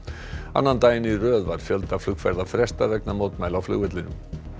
annan daginn í röð var fjölda flugferða frestað vegna mótmæla á flugvellinum